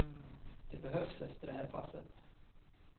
Det behövs efter det här passet.